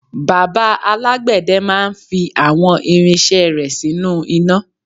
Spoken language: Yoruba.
bàbá alágbède máà ń fi àwọn irinṣẹ́ rẹ̀ sínú iná